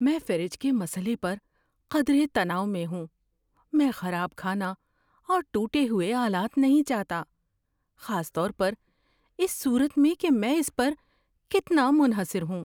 میں فریج کے مسئلے پر قدرے تناؤ میں ہوں۔ میں خراب کھانا اور ٹوٹے ہوئے آلات نہیں چاہتا، خاص طور پر اس صورت میں کہ میں اس پر کتنا منحصر ہوں۔